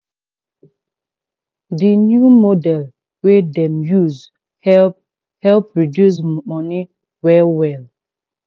di new model wey dem use help help reduce money well well.